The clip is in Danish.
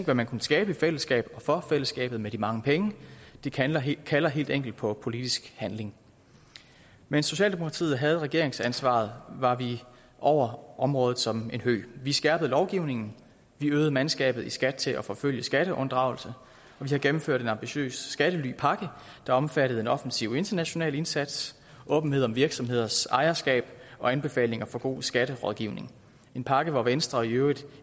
hvad man kunne skabe i fællesskab og for fællesskabet med de mange penge det kalder helt kalder helt enkelt på politisk handling mens socialdemokratiet havde regeringsansvaret var vi over området som en høg vi skærpede lovgivningen vi øgede mandskabet i skat til at forfølge skatteunddragelse og vi gennemførte en ambitiøs skattelypakke der omfattede en offensiv international indsats åbenhed om virksomheders ejerskab og anbefalinger for god skatterådgivning en pakke hvori venstre i øvrigt